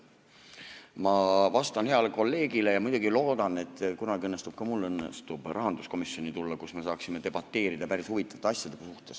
Ma vastan heale kolleegile ja muidugi loodan, et kunagi õnnestub ka mul rahanduskomisjoni tulla, kus me saaksime debateerida päris huvitavate asjade üle.